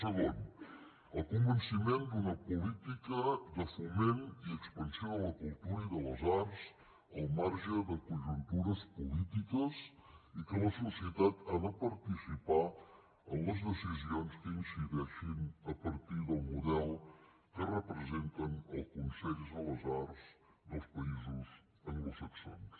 segon el convenciment d’una política de foment i expansió de la cultura i de les arts al marge de conjuntures polítiques i que la societat ha de participar en les decisions que hi incideixin a partir del model que representen els consells de les arts dels països anglosaxons